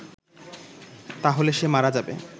তাহলে সে মারা যাবে